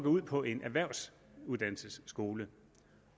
ud på en erhvervsuddannelsesskole